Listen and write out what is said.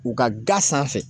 U ka ga sanfɛ